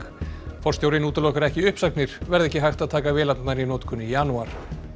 forstjórinn útilokar ekki uppsagnir verði ekki hægt að taka vélarnar í notkun í janúar